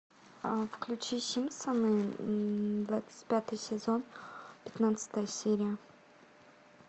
включи симпсоны двадцать пятый сезон пятнадцатая серия